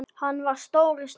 Hann var stór í sniðum.